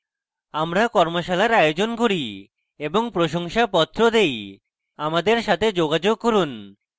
আমরা কর্মশালার আয়োজন করি এবং প্রশংসাপত্র দেই আমাদের সাথে যোগাযোগ করুন